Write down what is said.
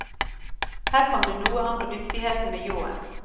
Her kom det noe an på dyktigheten med ljåen.